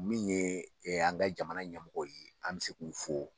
Min ye an ka jamana ɲɛmɔgɔ ye an bɛ se k'o fo